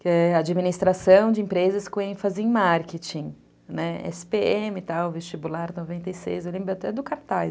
que é administração de empresas com ênfase em marketing, né, esse pê eme e tal, vestibular noventa e seis, eu lembro até do cartaz.